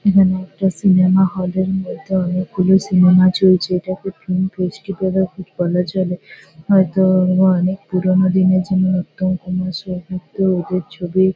এখানে একটা cinema hall -এর মধ্যে অনেকগুলি সিনেমা চলছে। এটাকে ফিল্ম ফেস্টিভেল -ও ঠিক বলা চলে। হয়তো-ও এগুলো অনেক পুরোনো দিনের যেমন- উত্তম কুমার সৌমিত্র ওদের ছবি।